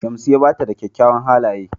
Shamsiya bata da ƙyawawan halaƴe.